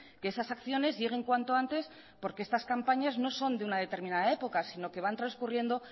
que esas acciones lleguen cuanto antes porque estas campañas no son de un determinada época sino que van transcurriendo